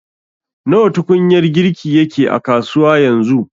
Nawa tukunyar girki yake a kasuwa yanzu